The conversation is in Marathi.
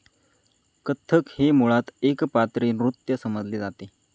कत्थक हे मुळात एकपात्री नृत्य समजले जाते.